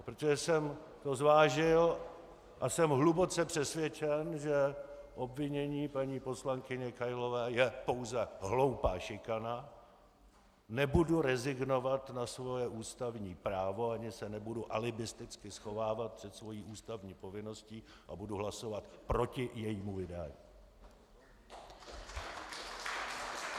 A protože jsem to zvážil a jsem hluboce přesvědčen, že obvinění paní poslankyně Kailové je pouze hloupá šikana, nebudu rezignovat na svoje ústavní právo ani se nebudu alibisticky schovávat před svou ústavní povinností a budu hlasovat proti jejímu vydání.